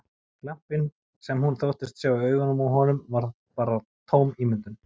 Glampinn sem hún þóttist sjá í augunum á honum var þá bara tóm ímyndun!